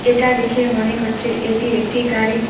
এটা দেখে মনে হচ্ছে এটি একটি গাড়ি।